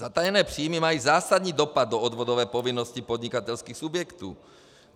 Zatajené příjmy mají zásadní dopad do odvodové povinnosti podnikatelských subjektů.